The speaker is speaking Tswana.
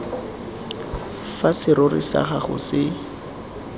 fa serori sa gago se